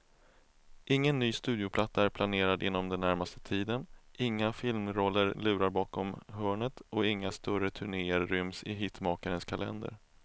Ingen ny studioplatta är planerad inom den närmaste tiden, inga filmroller lurar bakom hörnet och inga större turnéer ryms i hitmakarens kalender.